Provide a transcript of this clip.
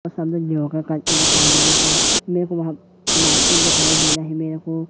करके दिखाई दे रहा है मेरे को वहां नाइटी दिखाई दे रही मेरे को।